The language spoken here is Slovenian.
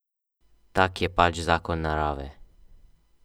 Tak je pač zakon narave.